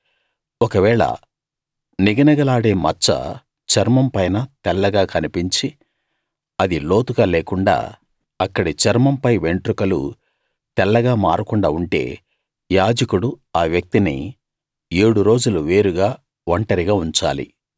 ఒకవేళ నిగనిగలాడే మచ్చ చర్మం పైన తెల్లగా కన్పించి అది లోతుగా లేకుండా అక్కడి చర్మం పై వెంట్రుకలు తెల్లగా మారకుండా ఉంటే యాజకుడు ఆ వ్యక్తిని ఏడు రోజులు వేరుగా ఒంటరిగా ఉంచాలి